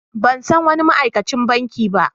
Ban san wani ma'aikacin banki ba.